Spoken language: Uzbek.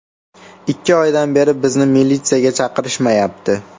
Ikki oydan beri bizni militsiyaga chaqirishmayapti.